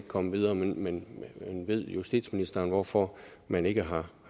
kommet videre men ved justitsministeren hvorfor man ikke har